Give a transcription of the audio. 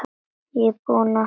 Ég er búinn að því!